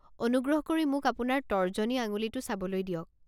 অনুগ্ৰক কৰি মোক আপোনাৰ তৰ্জনী আঙুলিটো চাবলৈ দিয়ক।